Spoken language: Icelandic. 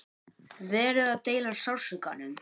Verið að deila sársaukanum